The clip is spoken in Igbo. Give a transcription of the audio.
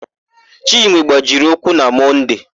Chinwe gbajiri ụkwụ na Mọnde.